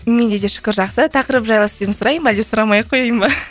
менде де шүкір жақсы тақырып жайлы сізден сұрайын ба әлде сұрамай ақ қояйын ба